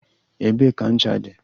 Ebee ka ncha dị?